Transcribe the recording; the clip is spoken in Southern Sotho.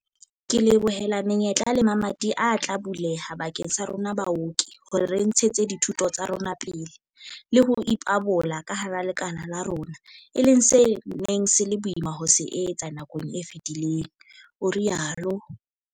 "Ke lebohela menyetla le mamati a tla buleha bakeng sa rona baoki hore re ntshetse dithuto tsa rona pele le ho ipabola ka hara lekala la rona, e leng se neng se le boima ho se etsa nakong e fetileng," o rialo.